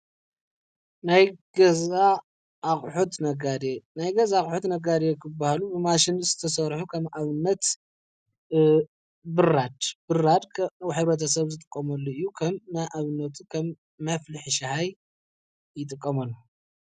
ናይ ገዛ ኣቕሑት ነጋዴ ናይ ገዛ ነጋዴ ኣቑሑ ክበሃሉ ብማሽን ዝተሰርሑ ከም ኣብነት ብራድ- ብራድ ኅብረተሰብ ዝጥቀመሉ እዩ፡፡ ከም ኣብነት ከም መፍልሒ ሻሂ ይጥቀመሉ፡፡